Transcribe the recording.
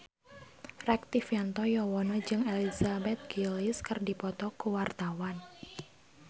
Rektivianto Yoewono jeung Elizabeth Gillies keur dipoto ku wartawan